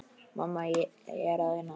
Mamma, ég er að vinna.